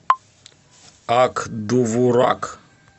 ак довурак